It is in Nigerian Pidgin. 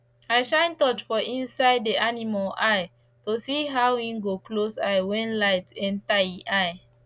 i shine torch for inside the animal eye to see how en go close eye when the light enter en eye